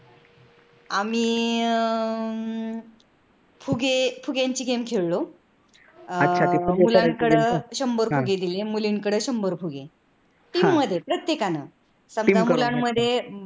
आम्ही अह फुगे फुग्यांची game खेळलो. मुलांकडे शंभर फुगे दिल, मुलींकडे शंभर फुगे दिले. team मध्ये प्रत्येकाने